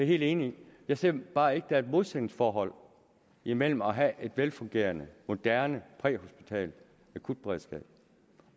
helt enig i jeg ser bare ikke at der er et modsætningsforhold imellem at have et velfungerende moderne præhospitalt akutberedskab